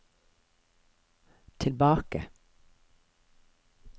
tilbake